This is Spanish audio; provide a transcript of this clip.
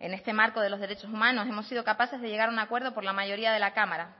en este marco de los derechos humanos hemos sido capaces de llegar a un acuerdo por la mayoría de la cámara